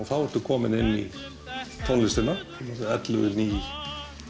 þá ertu kominn inn í tónlistina ellefu ný